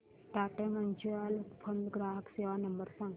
Tata mutual fund ग्राहक सेवा number सांगा